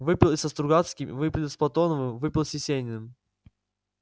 выпил и со стругацким выпил с платоновым выпил с есениным